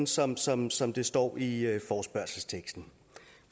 sådan sådan som det står i forespørgselsteksten